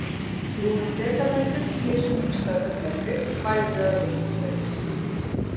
Nú er dekametri tíu sinnum stærri en metri, bæði að lengd og breidd.